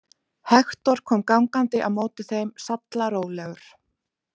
Hektor kom gangandi á móti þeim sallarólegur.